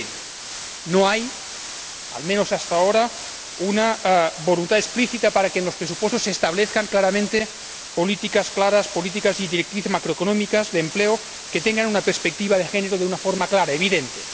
2020. No hay, al menos hasta ahora, una voluntad explícita para que en los presupuestos se establezcan claramente políticas claras, políticas y directrices macroeconómicas, de empleo, que tengan una perspectiva de género de una forma clara, evidente.